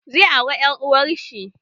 Zai aure ƴar uwar shi